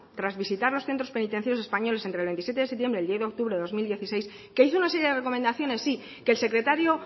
tras visitas los centros penitenciarios españolas entre el veintisiete de septiembre y el diez de octubre de dos mil dieciséis que hizo una serie de recomendaciones sí que el secretario